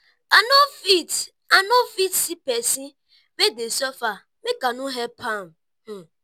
i no fit i no fit see pesin wey dey suffer make i no help am.